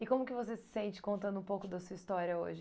E como que você se sente contando um pouco da sua história hoje?